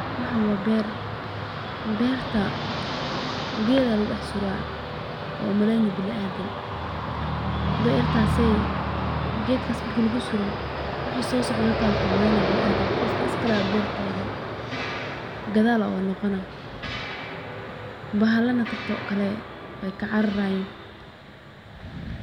Waxaan waa beer, beerta geed ayaa lagu dex suraa aad unaleyni biniadam, wixi soo socde wuxuu umaleyna qof taagan, bahalana sido kale waay ka cararayin.